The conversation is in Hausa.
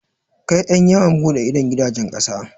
Kai ƴan yawon buɗe idon gidajen ƙasa.